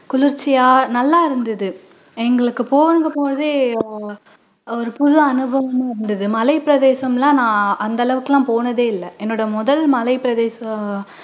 குளிர்ச்சியா நல்லா இருந்துது எங்களுக்கு பொழுது போனதே அஹ் ஒரு புது அனுபவமா இருந்துது மலை பிரதேசம் எல்லாம் நான் அந்த அளவுக்கு எல்லாம் போனதே இல்ல என்னோட முதல் மலை பிரதேசம்